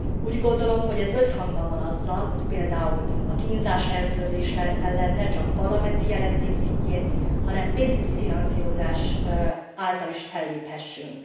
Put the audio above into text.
Úgy gondolom, hogy ez összhangban van azzal, hogy például a kínzás eltörlése mellett ne csak parlamenti jelentés szintjén, hanem pénzügyi finanszírozás által is felléphessünk.